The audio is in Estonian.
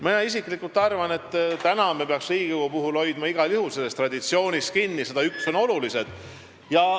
Mina isiklikult arvan, et praegu me peaks Riigikogu puhul igal juhul traditsioonist kinni hoidma – need 101 on olulised.